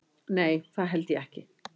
Nei það held ég ekki.